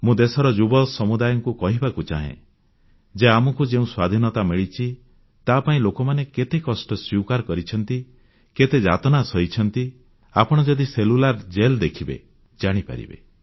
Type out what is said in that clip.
ମୁଁ ଦେଶର ଯୁବ ସମୁଦାୟକୁ କହିବାକୁ ଚାହେଁ ଯେ ଆମକୁ ଯେଉଁ ସ୍ୱାଧୀନତା ମିଳିଛି ତାପାଇଁ ଲୋକମାନେ କେତେ କଷ୍ଟ ସ୍ୱୀକାର କରିଛନ୍ତି କେତେ ଯାତନା ସହିଛନ୍ତି ଆପଣ ଯଦି ସେଲ୍ୟୁଲାର ଜେଲ୍ ଦେଖିବେ ଜାଣିପାରିବେ